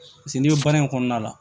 Paseke n'i bɛ baara in kɔnɔna la